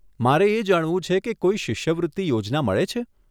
મારે એ જાણવું છે કે કોઈ શિષ્યવૃત્તિ યોજના મળે છે?